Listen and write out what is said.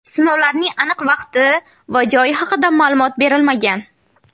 Sinovlarning aniq vaqti va joyi haqida ma’lumot berilmagan.